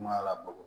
Kuma labato